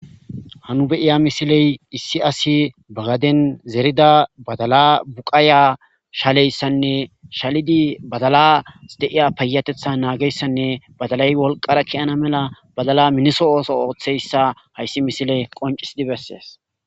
Hanu beiya misiley issi asi bagaden zerida badala buqaaya shaleyssanne shalidi badalas deiya payatetha naageyssanne badalay wolqara kiyana mela badala miniso ooso ooththeyssa hayssi misiley qoncisidi bessees